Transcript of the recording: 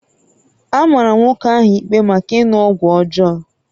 A mara nwoke ahụ ikpe maka ịṅụ ọgwụ ọjọọ